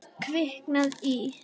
Kviknað í.